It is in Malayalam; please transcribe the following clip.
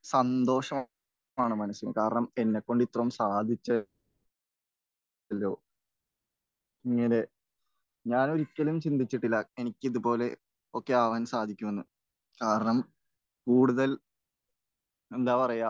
സന്തോഷമാണ് മനസ്സിന്. കാരണം എന്നെക്കൊണ്ട് ഇത്രയും സാധിച്ചു അല്ലോ. ഞാൻ ഒരിക്കലും ചിന്തിച്ചിട്ടില്ല എനിക്ക് ഇതുപോലെയൊക്കെ ആകാൻ സാധിക്കുമെന്ന്. കാരണം കൂടുതൽ എന്താ പറയാ